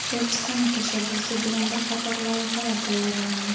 Elchixona tashabbusi bilan bir qator loyihalar tayyorlandi.